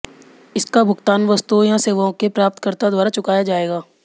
इसका भुगतान वस्तुओं या सेवाओं के प्राप्तकर्ता द्वारा चुकाया जाएगा